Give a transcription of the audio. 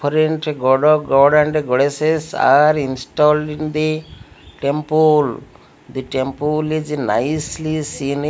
god and goddess are installed in the temple the temple is nicely seen --